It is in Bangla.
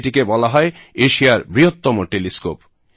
এটিকে বলা হয় এশিয়ার বৃহত্তম টেলিস্কোপ